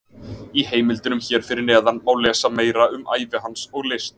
Í heimildunum hér fyrir neðan má lesa meira um ævi hans og list.